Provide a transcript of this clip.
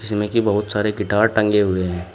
इसमें की बहुत सारे गिटार टंगे हुए हैं।